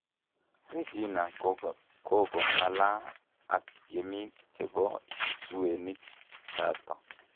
Regina kokongalaaa ak tiemik chepo psuwenik chato